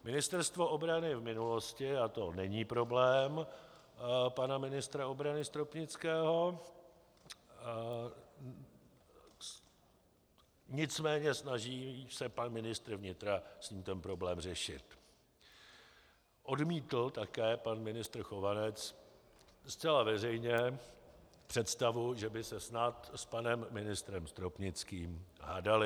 Ministerstvo obrany v minulosti - a to není problém pana ministra obrany Stropnického, nicméně snaží se pan ministr vnitra s ním ten problém řešit, odmítl také pan ministr Chovanec zcela veřejně představu, že by se snad s panem ministrem Stropnickým hádali.